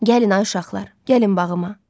Gəlin ay uşaqlar, gəlin bağıma.